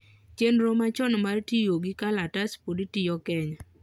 chenro machon mar tiyogi kalatas pod tiyo Kenya